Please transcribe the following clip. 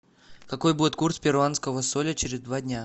какой будет курс перуанского соля через два дня